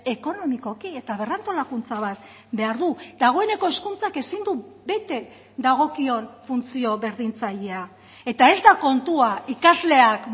ekonomikoki eta berrantolakuntza bat behar du dagoeneko hezkuntzak ezin du bete dagokion funtzio berdintzailea eta ez da kontua ikasleak